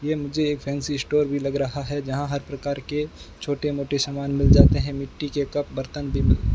ये मुझे एक फॅन्सी स्टोर भीं लग रहा है जहाँ हर प्रकार के छोटे मोटे सामान मिल जाते हैं मिट्टी के कप बर्तन भीं मिल --